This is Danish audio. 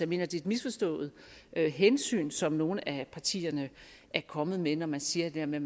mener det er et misforstået hensyn som nogle af partierne er kommet med når man siger det her med